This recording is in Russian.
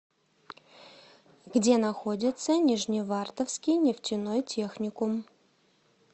где находится нижневартовский нефтяной техникум